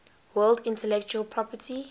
world intellectual property